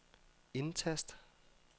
indtast